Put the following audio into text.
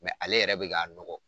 ale yɛrɛ bi k'a nɔgɔ.